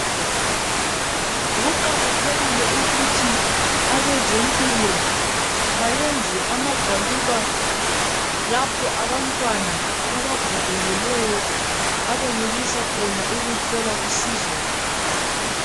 Kuqakathekile ukuthi abezempilakahle bayenze amagwaliba lapho abantwana abagogekileyo abenelisa khona ukuthola usizo.